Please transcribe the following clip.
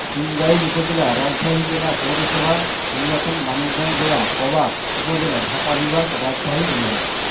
সিংগাইর উপজেলা রাজশাহী জেলা পৌরসভা নির্বাচন মানিকগঞ্জ জেলা পবা উপজেলা ঢাকা বিভাগ রাজশাহী বিভাগ